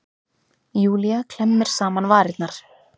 Júlía klemmir saman varirnar.